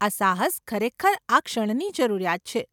આ સાહસ ખરેખર આ ક્ષણની જરૂરિયાત છે.